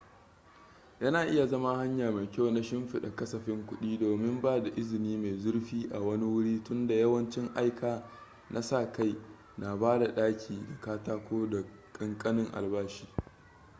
yana iya zama hanya mai kyau na shimfida kasafin kudi domin ba da izini mai zurfi a wani wuri tunda yawancin aika na sa kai na ba da daki da katako da kankanin albashi